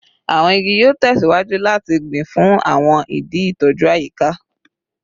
Awọn igi yoo tẹsiwaju lati gbin fun awọn idi itoju ayika